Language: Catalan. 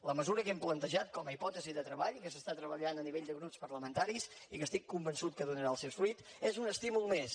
la mesura que hem plantejat com a hipòtesi de treball que s’està treballant a nivell de grups parlamentaris i que estic convençut que donarà el seus fruits és un estímul més